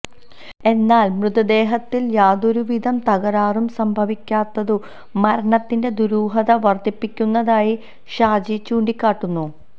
എന്നാല് മൃതദേഹത്തില് യാതൊരുവിധ തകരാറും സംഭവിക്കാത്തതു മരണത്തിന്റെ ദുരൂഹത വര്ധിപ്പിക്കുന്നതായി ഷാജി ചൂണ്ടിക്കാട്ടുന്നു